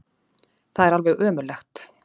Það er alveg ömurlegt.